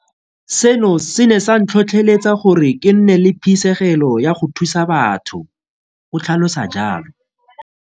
Seno se ne sa ntlhotlheletsa gore ke nne le phisegelo ya go thusa batho, o tlhalosa jalo.